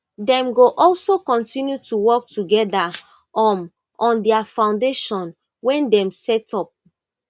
dem go also kontinu to work togeda um on dia foundation wey dem set up